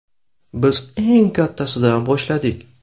Biz eng kattasidan boshladik.